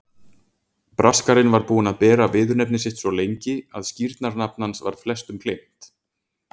Braskarinn var búinn að bera viðurnefni sitt svo lengi að skírnarnafn hans var flestum gleymt.